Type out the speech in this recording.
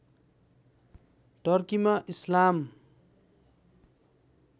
टर्कीमा इस्लाम